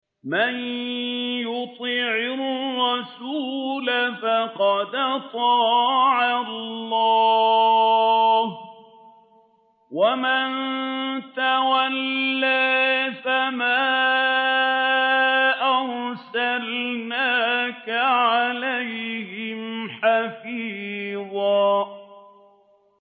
مَّن يُطِعِ الرَّسُولَ فَقَدْ أَطَاعَ اللَّهَ ۖ وَمَن تَوَلَّىٰ فَمَا أَرْسَلْنَاكَ عَلَيْهِمْ حَفِيظًا